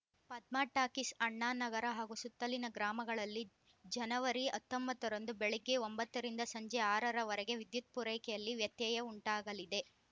Padma talkies Annanagar ಹಾಗೂ ಸುತ್ತಲಿನ ಗ್ರಾಮಗಳಲ್ಲಿ ಜನವರಿ ಹತ್ತೊಂಬತ್ತ ರಂದು ಬೆಳಗ್ಗೆ ಒಂಬತ್ತ ರಿಂದ ಸಂಜೆ ಆರ ರವರೆಗೆ ವಿದ್ಯುತ್‌ ಪೂರೈಕೆಯಲ್ಲಿ ವ್ಯತ್ಯಯ ಉಂಟಾಗಲಿದೆ